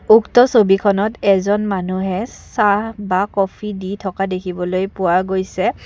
উক্ত ছবিখনত এজন মানুহে চাহ বা কফি দি থকা দেখিবলৈ পোৱা গৈছে।